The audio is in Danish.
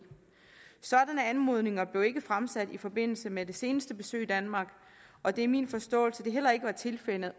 sådanne anmodninger blev ikke fremsat i forbindelse med det seneste besøg i danmark og det er min forståelse at det heller ikke var tilfældet